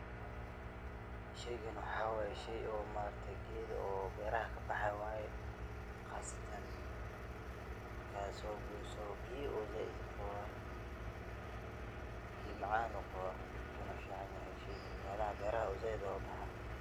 Sheygan waxa wayee shey oo maarakte geed oo beraha kaboxo wayee, qasatan marka sogoyso biyaa ayu zaid urawaaa , biya macan ayau gawaa wunu ficanyaxay sheygan melaha beraha ayu zaid ogubaxaa.